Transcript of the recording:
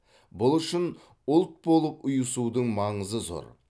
бұл үшін ұлт болып ұйысудың маңызы зор